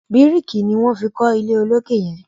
biriki ní wón fí kò ilé olokè yen.